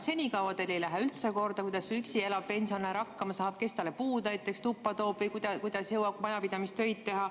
Senikaua teile ei ole üldse korda läinud, kuidas üksi elav pensionär hakkama saab, kes talle näiteks puud tuppa toob või kuidas ta jõuab majapidamistöid teha.